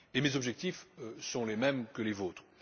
Mes objectifs sont les mêmes que les vôtres.